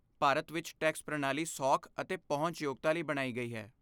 ਭਾਰਤ ਵਿੱਚ ਟੈਕਸ ਪ੍ਰਣਾਲੀ ਸੌਖ ਅਤੇ ਪਹੁੰਚ ਯੋਗਤਾ ਲਈ ਬਣਾਈ ਗਈ ਹੈ।